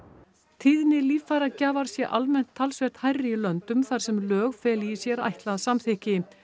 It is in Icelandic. tíðni líffæragjafar sé almennt talsvert hærri í löndum þar sem lög feli í sér ætlað samþykki